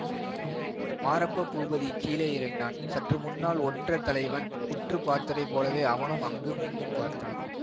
மாரப்ப பூபதி கீழே இறங்கினான் சற்று முன்னால் ஒற்றர் தலைவன் உற்று பார்த்ததைப் போலவே அவனும் அங்குமிங்கும் பார்த்தான்